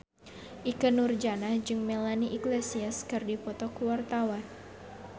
Ikke Nurjanah jeung Melanie Iglesias keur dipoto ku wartawan